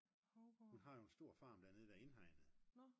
hun har jo en stor farm dernede der er indhegnet